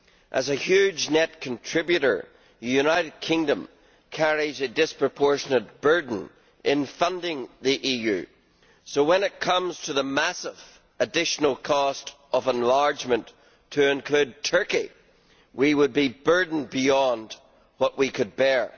As a huge net contributor, the United Kingdom carries a disproportionate burden in funding the EU so, when it comes to the massive additional cost of enlargement to include Turkey, we would be burdened beyond what we could bear.